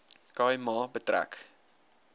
khai ma betrek